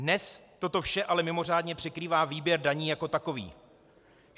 Dnes toto vše ale mimořádně překrývá výběr daní jako takový.